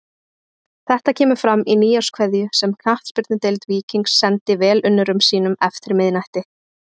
Þetta kemur fram í nýárskveðju sem Knattspyrnudeild Víkings sendi velunnurum sínum eftir miðnætti.